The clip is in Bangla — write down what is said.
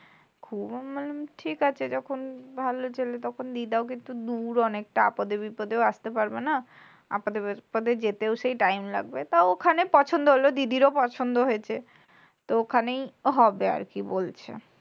খুব মানে ঠিক আছে যখন ভালো ছেলে তখন বিয়েটাও কিন্তু দূর অনেক মেয়েটাও কিন্তু আপাদে-বিপাদে আসতে পারবে না। আপাদে-বিপাদে যেতেও সেই time লাগবে তাওখনে পছন্দ হল দিদির ও পছন্দ হয়েছে। তো ওখানেই হবে আরকি বলছে।